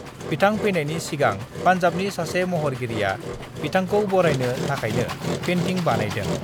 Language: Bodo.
बिथां फैनायनि सिगां पान्जाबनि सासे महरगिरिया बिथांखौ बरायनो थाखायनो पेन्टिं बानायदों।